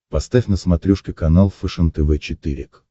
поставь на смотрешке канал фэшен тв четыре к